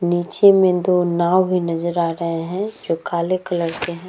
नीचे में दो नाव भी नज़र आ रहे हैं जो काले कलर के हैं।